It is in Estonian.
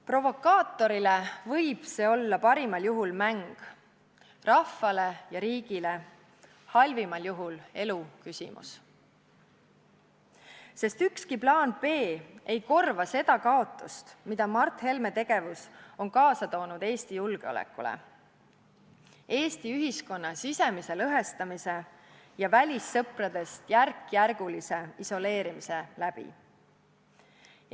Provokaatorile võib see parimal juhul olla mäng, rahvale ja riigile halvimal juhul eluküsimus, sest ükski plaan B ei korva kaotust, mille Mart Helme tegevus on Eesti julgeolekule Eesti ühiskonna sisemise lõhestamise ja välissõpradest järk-järgult isoleerimise läbi kaasa toonud.